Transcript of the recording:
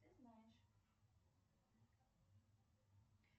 ты знаешь